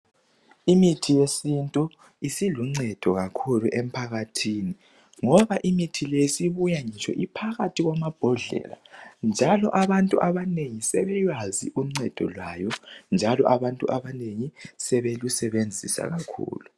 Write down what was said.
imithi yesintu isiluncedo kakhulu emphakathini ngoba imithi le isibuya iphakathi kwamabhodlela njalo abantu abanengi sebeyazi uncedo lwayo njalo abantu abanengi sebelusebenzisa kakhulu